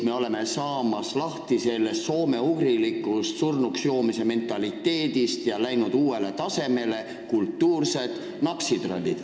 Me oleme lahti saamas soomeugrilikust surnuks joomise mentaliteedist ja jõudnud uuele tasemele: me oleme kultuursed napsitrallid.